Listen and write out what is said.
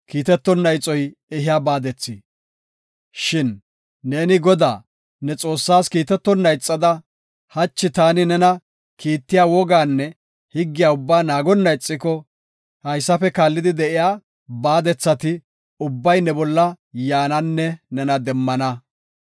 Shin neeni Godaa, ne Xoossaas kiitetonna ixada, hachi ta nena kiittiya wogaanne higgiya ubbaa naagonna ixiko, haysafe kaallidi de7iya baadethati ubbay ne bolla yaananne nena demmana.